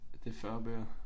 Det 40 bøger